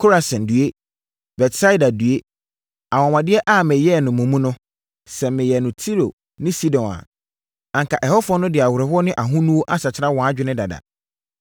“Korasin, due! Betsaida, due! Anwanwadeɛ a meyɛɛ no mo mu no, sɛ meyɛɛ no Tiro ne Sidon a, anka ɛhɔfoɔ no de awerɛhoɔ ne ahonuo asakyera wɔn adwene dada.